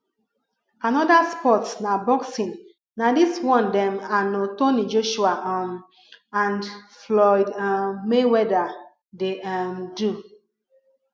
another sports na boxing na this one dem anothony joshua um and floyd um mayweather dey um do